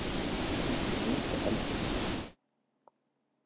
Ekki hunda heldur.